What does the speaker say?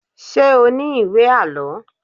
Ṣé o ní ìwé àlọ́?